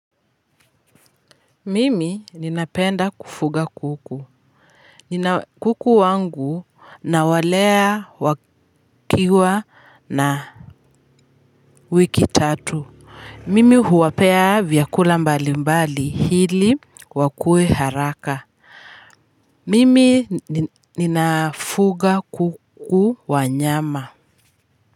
Mimi ninapenda kufuga kuku nina kuku wangu nawalea wakiwa na wiki tatu mimi huwapea vyakula mbali mbali ili wakue haraka mimi ninafuga kuku wa nyama.